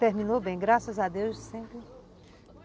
Terminou bem, graças a Deus sempre.